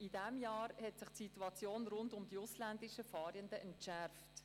In diesem Jahr hat sich die Situation rund um die ausländischen Fahrenden entschärft.